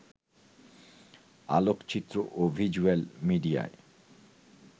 আলোকচিত্র ও ভিজ্যুয়াল মিডিয়ায়